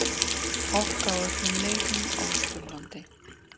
Hálka á öllum leiðum á Austurlandi